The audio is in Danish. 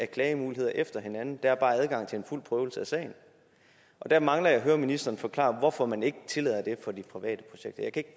klagemuligheder der er bare adgang til en fuld prøvelse af sagen der mangler jeg at høre ministeren forklare hvorfor man ikke tillader det for de private projekter jeg kan